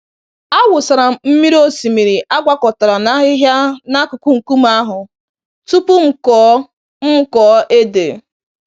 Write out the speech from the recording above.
Awụsara m mmiri osimiri agwakọtara na ahịhịa n'akụkụ nkume ahụ tupu m kụọ m kụọ ede.